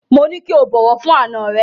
Mo ní kí o bọ̀wọ̀ fún àna rẹ.